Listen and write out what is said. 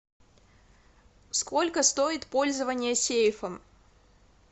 сколько стоит пользование сейфом